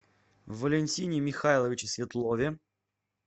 валентине михайловиче светлове